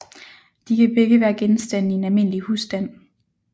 De kan begge være genstande i en almindelig husstand